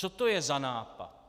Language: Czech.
Co to je za nápad?